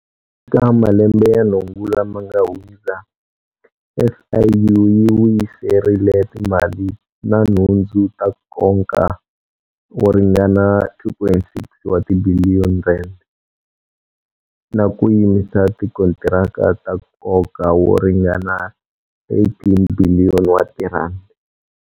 Eka malembe ya nhungu lama nga hundza, SIU yi vuyiserile timali na nhundzu ta nkoka wo ringana R2.6 wa tibiliyoni na ku yimisa tikontiraka ta nkoka wo ringana R18 tibiliyoni wa tirhandi.